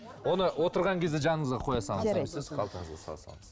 оны отырған кезде жаныңызға қоя салыңыз қалтаңызға сала салыңыз